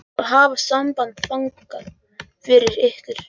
Ég skal hafa samband þangað fyrir ykkur.